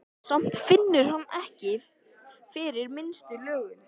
Samt finnur hann ekki fyrir minnstu löngun.